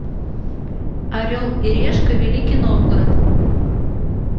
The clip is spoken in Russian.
орел и решка великий новгород